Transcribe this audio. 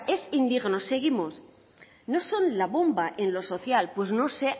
es indigno seguimos no son la bomba en lo social pues no sé